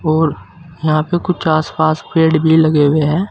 और यहाँ पे कुछ आस पास पेड़ भी लगे हुए हैं।